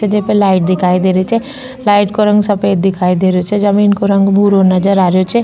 जे पे लाइट दिखाई दे रही छे लाइट को रंग सफेद दिखाई दे रहियो छे जमीन को रंग भूरो नजर आ रियो छे।